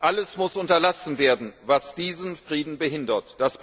Alles muss unterlassen werden, was diesen Frieden behindert.